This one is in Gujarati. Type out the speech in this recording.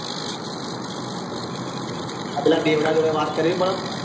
આ પેલા બેવડા જોડે વાત કરે એ